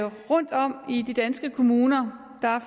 rundtom i de danske kommuner